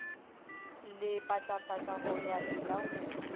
lepatlapatla ho ya e laumela